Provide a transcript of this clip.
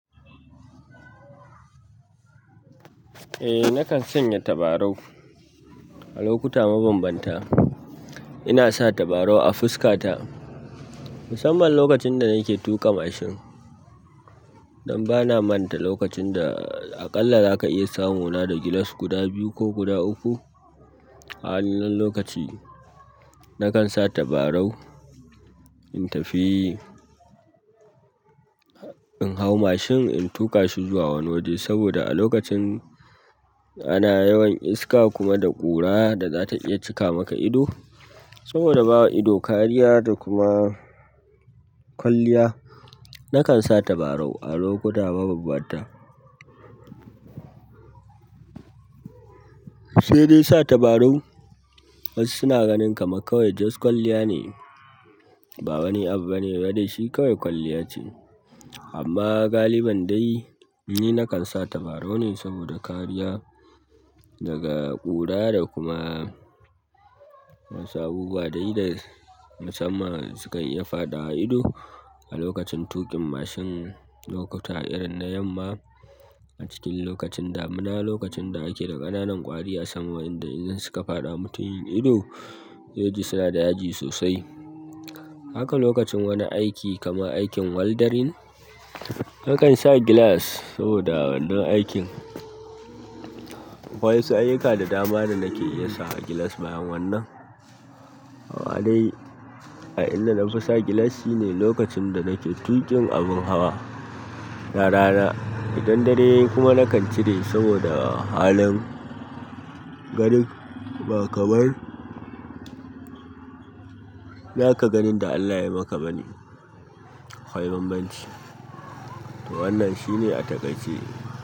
Eh, nakan sanya tabarau a lokuta mabambanta. Ina sa tabarau a fuska ta musamman lokacin da nake tuƙa mashin don bana manta lokacin da aƙalla zaka iya samu na da gilas guda biyu ko guda uku. A wannan lokaci nakan sa tabarau in tafi, in hau mashin in tuƙa shi zuwa wani waje saboda a lokacin ana yawan iska kuma da ƙura da za ta iya cika maka ido. Saboda bawa ido kariya da kuma kwalliya nakan sa tabarau a lokuta mabanbanta sai dai sa tabarau wasu suna ganin kamar kawai just kwalliya ne, ba wani abu bane ba dai shi kawai kwalliya ce. Amma galibin dai ni nakan sa tabarau nne saboda kariya daga ƙura da kuma wasu abubuwa dai da musamman sukan iya faɗawa ido a lokacin tuƙin mashin lokuta irin na yamma a cikin lokacin damuna, lokacin da ake da ƙananan ƙwari a sama wa'inda idan suka faɗa mutum yin ido zai ji suna da yaji sosai. Haka lokacin wani aiki kamar aikin weldarin nakan sa gilas saboda wannan aikin. Akwai wasu ayyuka da dama da nake iya sawa gilas bayan wannan. Amma dai a inda na fi sa gilas shine lokacin da nake tuƙin abin hawa da rana idan dare yayi kuma nakan cire saboda halin garin ba kamar. Naka ganin da Allah ya maka bani. Kwai bambanci. To wannan shine a takaice.